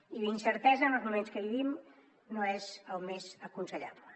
i la incertesa en els moments que vivim no és el més aconsellable